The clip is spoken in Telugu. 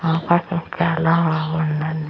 అపార్ట్మెంట్ చాల బాగుంది అండి.